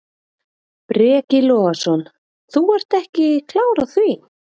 Breki Logason: Þú ert ekki klár á því?